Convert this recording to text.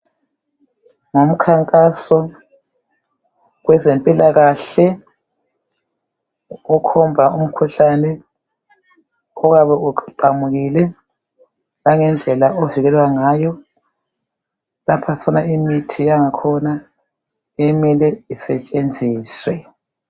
Ngumkhankaso wezempilakahle okhomba umkhuhlane oyabe uqhamukile langendlela ovikelwa ngayo. Lapha sibona imithi yangkhona okumele isetshenziswe.